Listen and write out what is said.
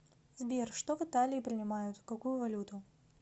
сбер что в италии принимают какую валюту